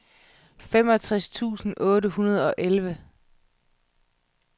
femogtres tusind otte hundrede og elleve